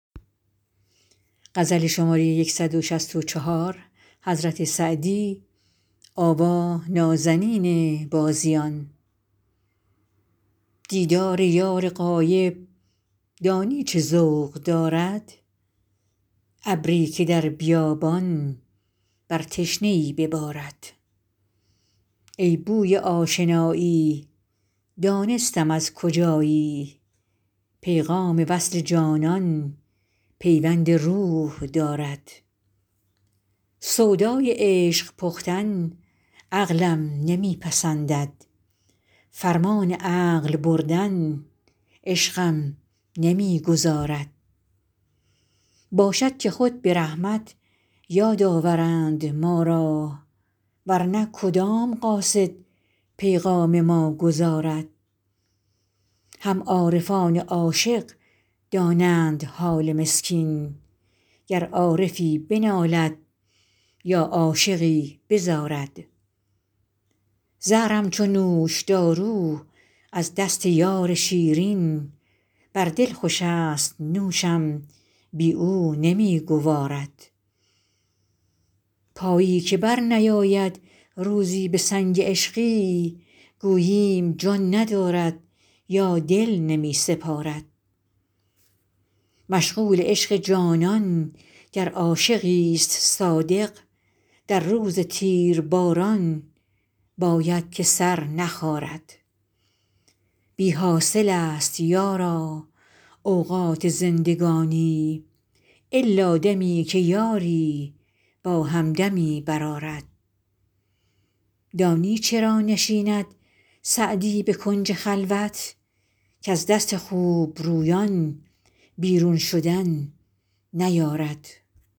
دیدار یار غایب دانی چه ذوق دارد ابری که در بیابان بر تشنه ای ببارد ای بوی آشنایی دانستم از کجایی پیغام وصل جانان پیوند روح دارد سودای عشق پختن عقلم نمی پسندد فرمان عقل بردن عشقم نمی گذارد باشد که خود به رحمت یاد آورند ما را ور نه کدام قاصد پیغام ما گزارد هم عارفان عاشق دانند حال مسکین گر عارفی بنالد یا عاشقی بزارد زهرم چو نوشدارو از دست یار شیرین بر دل خوشست نوشم بی او نمی گوارد پایی که برنیارد روزی به سنگ عشقی گوییم جان ندارد یا دل نمی سپارد مشغول عشق جانان گر عاشقیست صادق در روز تیرباران باید که سر نخارد بی حاصلست یارا اوقات زندگانی الا دمی که یاری با همدمی برآرد دانی چرا نشیند سعدی به کنج خلوت کز دست خوبرویان بیرون شدن نیارد